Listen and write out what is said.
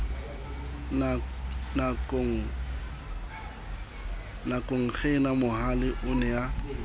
nakongena mohale o ne a